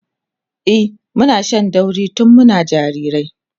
e Muna Shan dauri tun Muna jirajirai